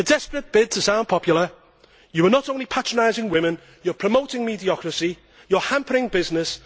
In a desperate bid to sound popular you are not only patronising women, you are promoting mediocrity and you are hampering business.